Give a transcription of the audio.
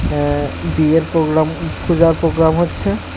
আঃ বিয়ের প্রোগ্রাম উম পূজার প্রোগ্রাম হচ্ছে।